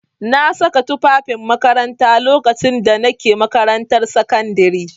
Na sa tufafin makaranta lokacin da na ke makarantar sakandare.